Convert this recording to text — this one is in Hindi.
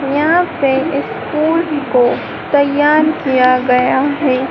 यहां पे इस पूल को तैयार किया गया है।